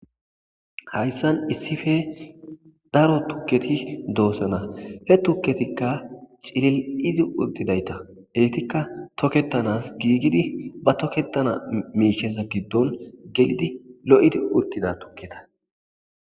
Hayssan issife daro tukketi doosana he tukketikka cilil'izi uttidayta eytikka toketanas giigidi ba tokketana miisheza giddon gelidi lo'idi uttida tukketa.